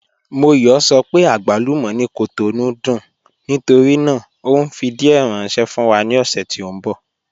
Móyọ̀ sọ pé àgbálúmọ̀ ni Cotonou dùn nítorí náà o nfi díẹ̀ ránṣẹ̀ fún wa ni ọ̀ṣẹ̀ tí n bọ.